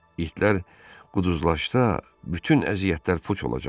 İtlər quduzlaşsa, bütün əziyyətlər puç olacaqdı.